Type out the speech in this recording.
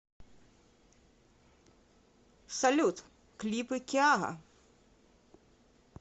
салют клипы киара